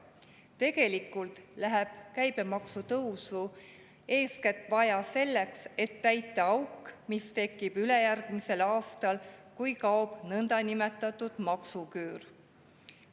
Tegelikult läheb käibemaksutõusu eeskätt vaja selleks, et täita auk, mis tekib ülejärgmisel aastal, kui kaob nõndanimetatud maksuküür.